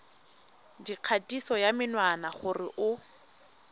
dikgatiso ya menwana gore o